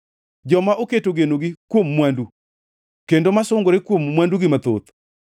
Joma oketo genogi kuom mwandu kendo masungore kuom mwandugi mathoth?